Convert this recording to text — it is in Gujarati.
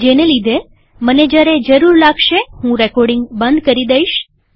જેને લીધેમને જ્યારે જરૂર લાગશે હું રેકોર્ડીંગ બંધ કરી દઈશ